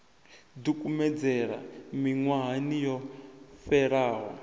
ḓi kumedzela miṅwahani yo fhelaho